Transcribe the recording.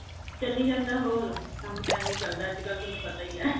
ਚਲੀ ਜਾਂਦਾ ਹੋਰ ਕੰਮ ਤਾਂ ਅੱਜਕਲ ਤੁਹਾਨੂੰ ਪਤਾ ਈ ਏ